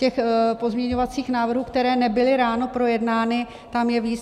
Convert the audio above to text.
Těch pozměňovacích návrhů, které nebyly ráno projednány, tam je víc.